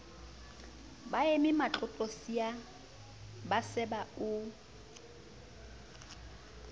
baeme matlotlosia ba seba o